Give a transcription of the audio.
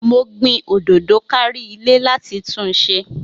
Mo gbin òdòdó kárí ile láti túnse